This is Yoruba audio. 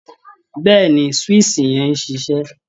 Bẹ́ẹ̀ ni, swíìṣì yẹn ń ṣiṣẹ́